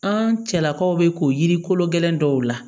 An cɛlakaw bɛ k'o yiri kolo gɛlɛn dɔw la